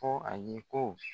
Ko ale ko